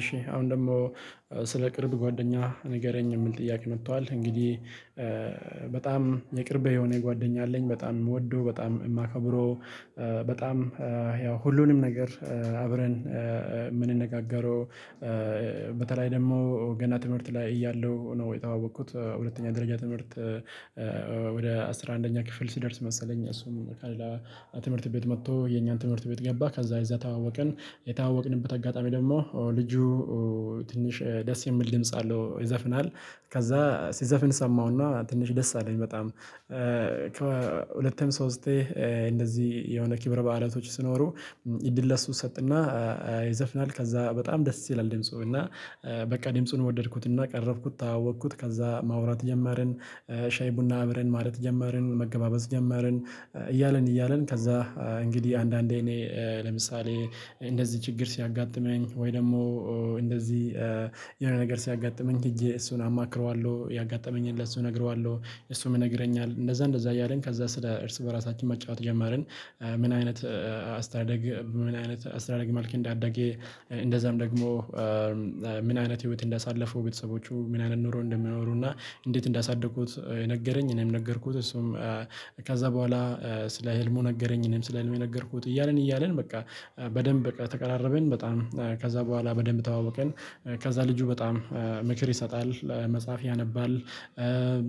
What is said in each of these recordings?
እሺ አሁን ደግሞ ስለ ቅርብ ጓደኛ ንገረኝ? ምን ጥያቄ መጥቷል እንግዲህ በጣም የቅርብህ የሆነ ጓደኛ አለኝ በጣም ወዶ በጣም የማከብረው። በጣም ያው ሁሉንም ነገር አብረን የምንነጋገረው። በተለይ ደግሞ ገና ትምህርት ላይ እያለሁ ነው የተዋወኩት ሁለተኛ ደረጃ ትምህርት ወደ አስራ አንደኛ ክፍል ስደርስ መሰለኝ እሱም ከሌላ ትምህርት ቤት መጥቶ የኛን ትምህርት ቤት ገባ። ከዛ እዛ ተዋወቅን፣ የተዋወቅንበት አጋጣሚ ደግሞ ልጁ ትንሽ ደስ የሚል ድምጽ አለው ይዘፍናል። ከዛ ሲዘፍን ሰማሁና ትንሽ ደስ አለኝ በጣም። ከሁለቴም ሶስቴ እንደዚህ የሆነ ኪብረ በዓላቶች ስኖሩ እዲል ለሱ ሰጥና ይዘፍናል ከዛ በጣም ደስ ይላል። ደምጽ እና በቃ ደምጽውን ወደድኩትና ቀረብኩት ተዋወቅኩት ከዛ ማውራት ጀመርን ሻይ ቡና አብረን ማለት ጀመርን መገባበዝ ጀመርን። እያልን እያልን ከዛ እንግዲህ አንዳንዴ እኔ ለምሳሌ እንደዚህ ችግር ሲያጋጥመኝ ወይ ደግሞ እንደዚህ የሆነ ነገር ሲያጋጥመኝ እጄ እሱን አማክረዋለሁ ያጋጠመኝን ለሱ ነግረዋለሁ። እሱም ይነግረኛል እንደዛ እንደዛ እያልን ከዛ ስለ እርስ በራሳችን መጫወት ጀመርን። ምን አይነት አስተዳደግ ምን አይነት አስተዳደግ መልክ እንዳደገ እንደዛም ደግሞ ምን አይነት ህይወት እንዳሳለፈው ቤተሰቦቹ ምን አይነት ኖሮ እንደሚኖሩ እና እንዴት እንዳሳደጉት ነገረኝ። እኔም ነገርኩት እሱም ከዛ በኋላ ስለ ህልሙ ነገረኝ። እኔም ስለ ህልሙ የነገርኩት እያልን እያልን በቃ በደንብ በቃ ተቀራረበን። በጣም ከዛ በኋላ በደንብ ተዋወቀን። ከዛ ልጁ በጣም ምክር ይሰጣል መጽሐፍ ያነባል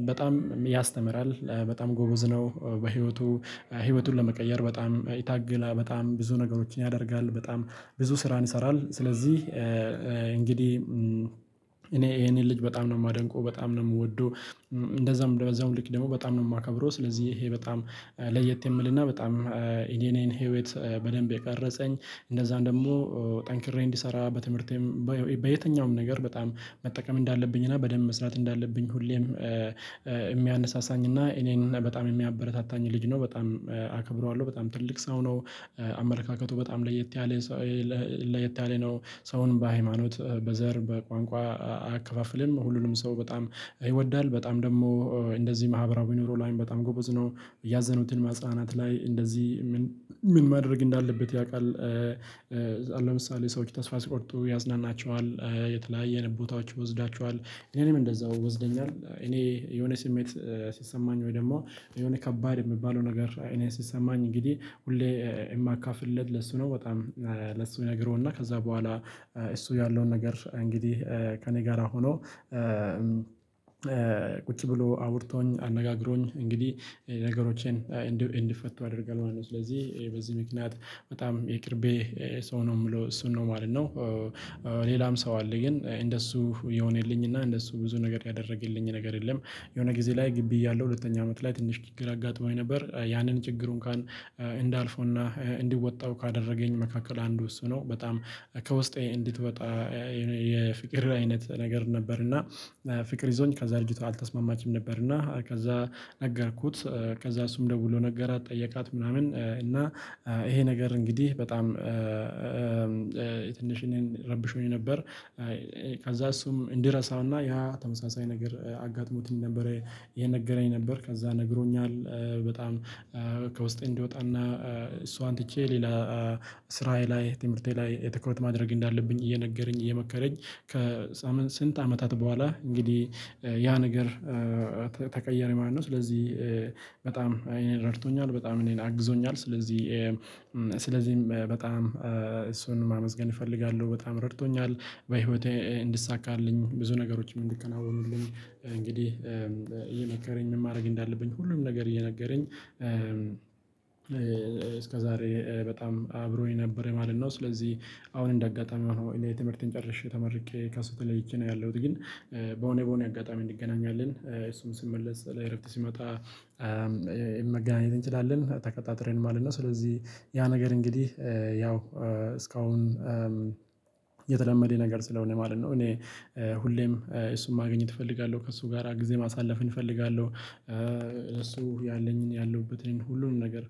በጣም ያስተምራል በጣም ጎበዝ ነው። በህይወቱ ህይወቱን ለመቀየር በጣም ይታገላል በጣም ብዙ ነገሮችን ያደርጋል በጣም ብዙ ስራን ይሰራል። ስለዚህ እንግዲህ እኔ ይሄንን ልጅ በጣም ነው የማደንቀው በጣም ነው የምወደው። እንደዛም እንደዛም ልክ ደግሞ በጣም ነው የማከብረው። ስለዚህ ይሄ በጣም ለየት የምልና በጣም የእኔን ህይወት በደንብ የቀረጸኝ እንደዛም ደግሞ ጠንክሬ እንድሰራ በትምህርቴም በየትኛውም ነገር በጣም መጠቀም እንዳለብኝ እና በደንብ መስራት እንዳለብኝ ሁሌም የሚያነሳሳኝ እና እኔን በጣም የሚያበረታታኝ ልጅ ነው። በጣም አከብረዋለሁ በጣም ትልቅ ሰው ነው። አመለካከቱ በጣም ለየት ያለ ለየት ያለ ነው። ሰውን በሃይማኖት በዘር በቋንቋ አከፋፍልን ሁሉንም ሰው በጣም ይወዳል በጣም ደግሞ እንደዚህ ማህበራዊ ኑሮ ላይ በጣም ጎበዝ ነው። ያዘኑትን ማጽአናት ላይ እንደዚህ ምን ማድረግ እንዳለበት ያውቃል። ሰዎች ተስፋ ሲቆርጡ ያጽናናቸዋል። የተለያየ ቦታዎች ይወስዳቸዋል እኔም እንደዛው ይወስደኛል። እኔ የሆነ ስሜት ሲሰማኝ ወይ ደግሞ የሆነ ከባድ የሚባለው ነገር እኔን ሲሰማኝ እንግዲህ ሁሌ የማካፍልለት ለሱ ነው። በጣም ለሱ እነግረውና ከዛ በኋላ እሱ ያለውን ነገር እንግዲህ ከእኔ ጋራ ሆኖ ቁጭ ብሎ አውርቶኝ አነጋግሮኝ እንግዲህ ነገሮቼን እንዲፈቱ አደርጋለሁ ማለት ነው። ስለዚህ በዚህ ምክንያት በጣም የቅርቤ ሰው ነው የምለው እሱን ነው ማለት ነው። ሌላም ሰው አለ ግን እንደሱ የሆነልኝ እና እንደሱ ብዙ ነገር ያደረገልኝ ነገር የለም። የሆነ ጊዜ ላይ ግቢ እያለሁ ሁለተኛ አመት ላይ ትንሽ ችግር አጋጥሞኝ ነበር ያንን ችግሩን እንዳልፈውና እንዲወጣው ካደረገኝ መካከል አንዱ እሱ ነው። በጣም ከውስጤ እንድትወጣ የፍቅር አይነት ነገር ነበር። እና ፍቅር ይዞኝ ከዛ እርጅታ አልተስማማችም ነበር። እና ከዛ ነገርኩት ከዛ እሱም ደውሎ ነገራት ጠየቃት ምናምን እና ይሄ ነገር እንግዲህ በጣም ትንሽ እኔም ረብሾኝ ነበር። ከዛ እሱም እንዲረሳውና ያ ተመሳሳይ ነገር አጋጥሞት ነበረ። ይሄን እየነገረኝ ነበር ከዛ ነግሮኛል። በጣም ከውስጤ እንዲወጣና እሷን ትቼ ሌላ ስራዬ ላይ ትምህርቴ ላይ የትኩረት ማድረግ እንዳለብኝ እየነገረኝ እየመከረኝ ከስንት አመታት በኋላ እንግዲህ ያ ነገር ተቀየረ ማለት ነው። ስለዚህ በጣም አኔን ረድቶኛል በጣም እኔን አግዞኛል ስለዚህ በጣም እሱን ማመስገን እፈልጋለሁ በጣም ረድቶኛል። በህይወቴ እንድሳካልኝ ብዙ ነገሮችም እንዲከናወኑልኝ እንግዲህ እየመከረኝ ምን ማድረግ እንዳለብኝ ሁሉም ነገር እየነገረኝ እስከዛሬ በጣም አብሮኝ ነበረ ማለት ነው። ስለዚህ አሁን እንደ አጋጣሚ ሆኖ የትምህርቴን ጨርሼ ተመርቄ ከሱ ተለይቼ ነው ያለሁት። ግን በሆኔ በሆኔ አጋጣሚ እንገናኛለን። እሱም ሲመለስ ለእረፍት ሲመጣ መገናኘት እንችላለን ተቀጣጥረን ማለት ነው። ስለዚህ ያ ነገር እንግዲህ ያው እስካሁን የተለመደ ነገር ስለሆነ ማለት ነው። እኔ ሁሌም እሱን ማግኘት እፈልጋለሁ ከእሱ ጋራ ጊዜ ማሳለፍን እፈልጋለሁ። እሱ ያለኝ ያለሁበትን ሁሉንም ነገር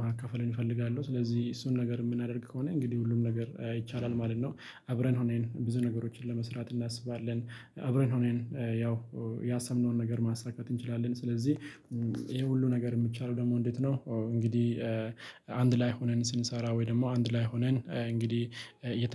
ማካፈል እፈልጋለው ስለዚህ እሱን ነገር የምናደርግ ከሆነ እንግዲህ ሁሉም ነገር ይቻላል ማለት ነው። አብረን ሆነን ብዙ ነገሮችን ለመስራት እናስባለን። አብረን ሆነን ያው ያሰብነውን ነገር ማስተካከት እንችላለን። ስለዚህ ይሄ ሁሉ ነገር የሚቻለው ደግሞ እንዴት ነው? እንግዲህ አንድ ላይ ሆነን ስንሰራ ወይ ደግሞ አንድ ላይ ሆነን እንግዲህ